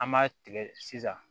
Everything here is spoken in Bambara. An b'a tigɛ sisan